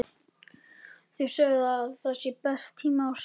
Þau segja að það sé besti tími ársins.